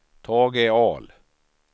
Tage Ahl